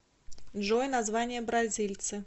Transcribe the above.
джой название бразильцы